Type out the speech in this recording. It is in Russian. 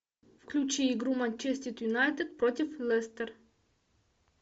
включи игру манчестер юнайтед против лестер